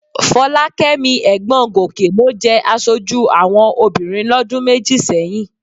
Fọlákẹ́mi ẹ̀gbọ́n Gòkè ló jẹ aṣojú àwọn obìnrin lọ́dún méjì sẹ́yìn